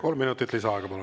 Kolm minutit lisaaega, palun!